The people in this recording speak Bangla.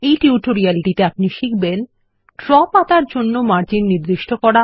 এই টিউটোরিয়ালটিতে আপনি শিখবেন ড্র পাতার জন্য মার্জিন নির্দিষ্ট করা